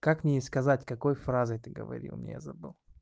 как мне ей сказать какой фразой ты говорил мне я забыл